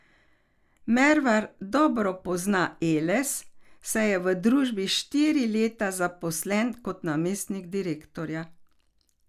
Mervar dobro pozna Eles, saj je v družbi štiri leta zaposlen kot namestnik direktorja.